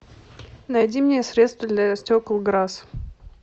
найди мне средство для стекол грасс